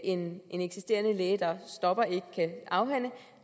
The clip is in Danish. en eksisterende læge der stopper ikke kan afhænde